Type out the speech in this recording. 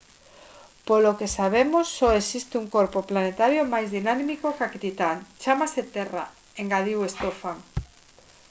polo que sabemos só existe un corpo planetario máis dinámico ca titán chámase terra engadiu stofan